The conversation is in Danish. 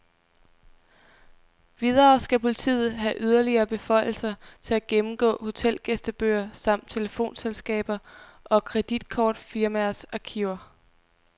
Videre skal politiet have yderligere beføjelser til at gennemgå hotelgæstebøger samt telefonselskaber og kreditkortfirmaers arkiver.